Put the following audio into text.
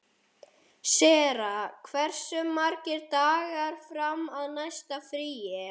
Sera, hversu margir dagar fram að næsta fríi?